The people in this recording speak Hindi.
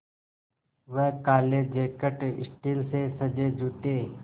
वह काले जैकट स्टील से सजे जूते